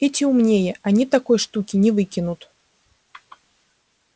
эти умнее они такой штуки не выкинут